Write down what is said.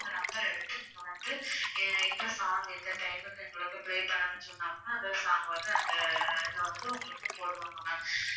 அந்த number அ எடுத்து நீங்க வந்து என்ன song என்ன time க்கு எங்களுக்கு play பண்ணனும்னு சொன்னோம்னா அந்த song வந்து அந்த அதுல வந்து உங்களுக்கு போடுவாங்க ma'am